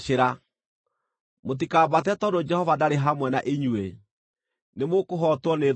Mũtikambate tondũ Jehova ndarĩ hamwe na inyuĩ. Nĩmũkũhootwo nĩ thũ cianyu,